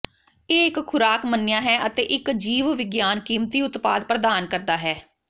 ਇਹ ਇੱਕ ਖੁਰਾਕ ਮੰਨਿਆ ਹੈ ਅਤੇ ਇੱਕ ਜੀਵਵਿਗਿਆਨ ਕੀਮਤੀ ਉਤਪਾਦ ਪ੍ਰਦਾਨ ਕਰਦਾ ਹੈ ਹੈ